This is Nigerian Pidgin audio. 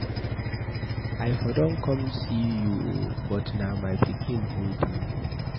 I for don come see you oo but na my pikin hold me.